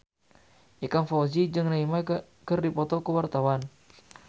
Ikang Fawzi jeung Neymar keur dipoto ku wartawan